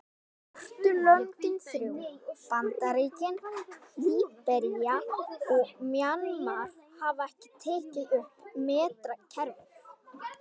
Svörtu löndin þrjú, Bandaríkin, Líbería og Mjanmar hafa ekki tekið upp metrakerfið.